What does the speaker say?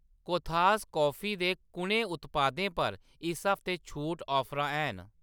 कोथास coffee दे कुʼनें उत्पादें पर इस हफ्तै छूट ऑफरां हैन ?